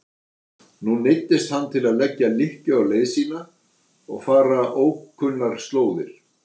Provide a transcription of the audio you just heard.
Nú neyddist hann til að leggja lykkju á leið sína og fara ókunnar slóðir.